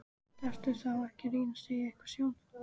Gastu þá ekki reynt að segja eitthvað sjálf?